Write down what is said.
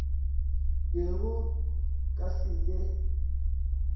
be go ka se be